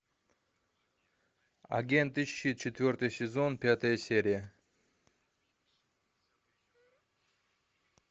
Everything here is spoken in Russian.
агенты щит четвертый сезон пятая серия